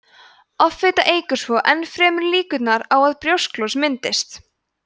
offita eykur svo enn frekar líkurnar á að brjósklos myndist